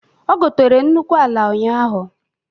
Ọ gotere nnukwu ala ụnyaahụ.